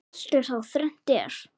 Allt er þá þrennt er.